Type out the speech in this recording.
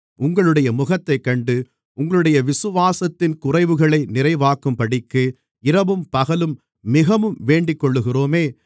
உங்களுடைய முகத்தைக் கண்டு உங்களுடைய விசுவாசத்தின் குறைவுகளை நிறைவாக்கும்படிக்கு இரவும் பகலும் மிகவும் வேண்டிக்கொள்ளுகிறோமே